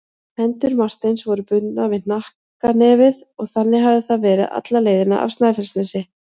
Hendur Marteins voru bundnar við hnakknefið og þannig hafði það verið alla leiðina af Snæfellsnesi.